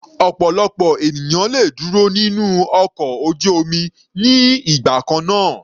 Ọ̀pọ̀lọpọ̀ ènìyàn le dúró nínú ọkọ̀ ojú omi ní ìgbà kannáà.